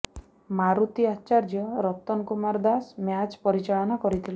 Maruti Acharya Ratan Kumar Das match ପରିଚାଳନା କରିଥିଲେ